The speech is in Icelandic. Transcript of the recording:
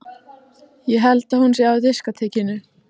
Ég held að hún sé á diskótekinu.